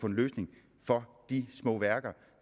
en løsning for de små værker